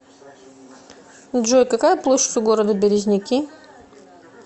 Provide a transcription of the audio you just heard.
джой какая площадь у города березники